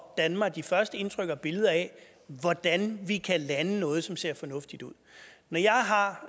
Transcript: danne mig de første indtryk og billeder af hvordan vi kan lande noget som ser fornuftigt ud når jeg har